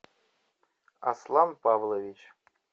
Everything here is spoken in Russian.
аслан павлович